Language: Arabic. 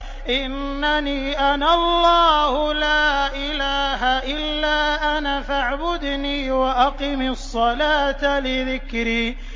إِنَّنِي أَنَا اللَّهُ لَا إِلَٰهَ إِلَّا أَنَا فَاعْبُدْنِي وَأَقِمِ الصَّلَاةَ لِذِكْرِي